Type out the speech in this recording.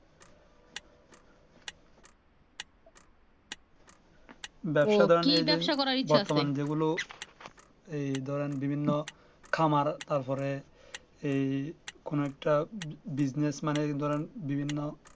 ব্যবসা বাণিজ্যের জন্য ব্যবসা বাণিজ্য গুলো এই ধরেন বিভিন্ন খামার তার পরে এই কোনো একটা business man এর ধরেন বিভিন্ন